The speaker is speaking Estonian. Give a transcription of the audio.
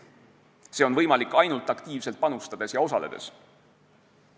See on võimalik ainult aktiivselt panustades ja osaledes.